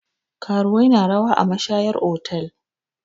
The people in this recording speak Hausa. Karuwai na rawa a mashayar otal.